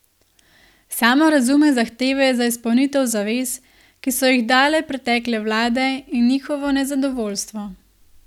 Sama razume zahteve za izpolnitev zavez, ki so jih dale pretekle vlade, in njihovo nezadovoljstvo.